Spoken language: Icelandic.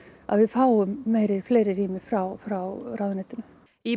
að við fáum fleiri rými frá frá ráðuneytinu í